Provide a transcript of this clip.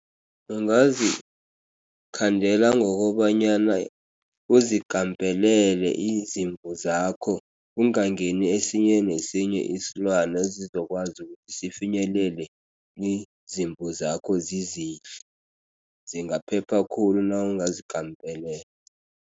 Ungazikhandela ngokobanyana uzikampelele izimvu zakho, kungangeni esinye nesinye isilwana esizokwazi ukuthi sifinyelele izimvu zakho zizidle. Zingaphepha khulu nawungazikampelela.